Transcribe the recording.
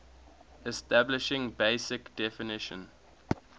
establishing basic definition